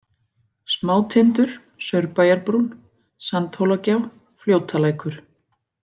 Smátindur, Saurbæjarbrún, Sandhólagjá, Fljótalækur